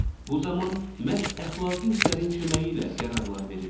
Bu zaman məhz əxlaqi hisslərin köməyi ilə qərarlar veririk.